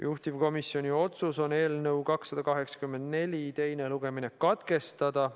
Juhtivkomisjoni otsus on eelnõu 284 teine lugemine katkestada.